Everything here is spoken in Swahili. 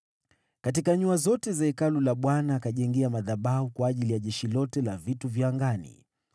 Katika nyua zote mbili za Hekalu la Bwana akajenga madhabahu kwa ajili ya jeshi lote la angani.